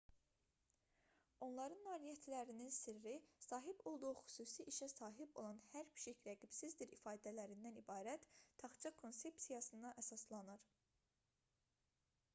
onların nailiyyətlərinin sirri sahib olduğu xüsusi işə sahib olan hər pişik rəqibsizdir ifadələrindən ibarət taxça konsepsiyasına əsaslanır